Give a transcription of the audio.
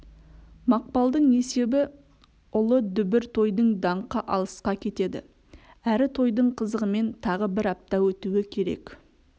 мақпалдың есебі ұлы дүбір тойдың даңқы алысқа кетеді әрі тойдың қызығымен тағы бір апта өтуі керек